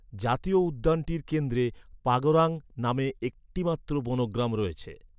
জাতীয় উদ্যানটির কেন্দ্রে পাগরাং নামে একটিমাত্র বনগ্রাম রয়েছে।